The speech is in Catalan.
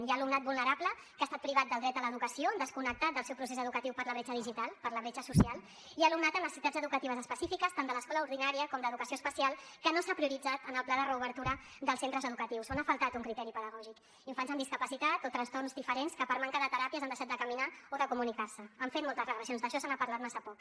hi ha alumnat vulnerable que ha estat privat del dret a l’educació desconnectat del seu procés educatiu per la bretxa digital per la bretxa social i alumnat amb necessitats educatives específiques tant de l’escola ordinària com d’educació especial que no s’ha prioritzat en el pla de reobertura dels centres educatius on ha faltat un criteri pedagògic infants amb discapacitat o trastorns diferents que per manca de teràpies han deixat de caminar o de comunicar se han fet moltes regressions d’això se n’ha parlat massa poc